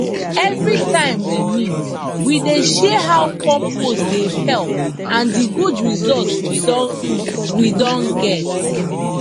every time we meet we dey share how compost dey help and di good results we don we don get